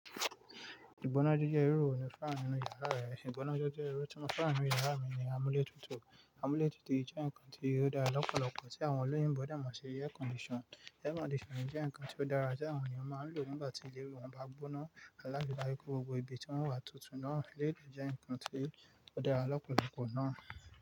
Ìgbónájejẹ́ irú èwo ló fẹ́ràn nínú yàrá rẹ? Ìgbónájejẹ́ irú tí mo fẹ́ràn nínú yàrá mi ni amúlétutù. Amúlétutù yìí jẹ́ ǹkan tí óò dára lọ́pọ̀lọpọ̀ tí àwọn olóyìnbo dẹ̀ mo ṣì air condition. Air condition jẹ́ ǹkan tí ó dára tí àwọn ènìyàn máa ń lò nígbà tí ìlẹ́ wọn bá gbóná, láti jẹ́ kí gbogbo ibi tí wọ́n wà tuntun náà, lílọ jẹ́ ǹkan tí ó dára lọ́pọ̀lọpọ̀ náà.